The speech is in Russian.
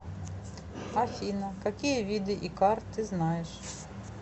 афина какие виды икар ты знаешь